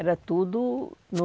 Era tudo no